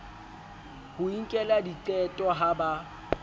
ho inkela diqeto ha ba